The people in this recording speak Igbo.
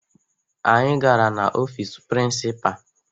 Anyị gara n'ọfiisi prịnsịpaa